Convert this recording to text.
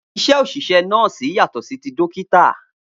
Iṣẹ́ oṣiṣẹ nọ́ọ́sì yàtọ̀ sí tí dókítà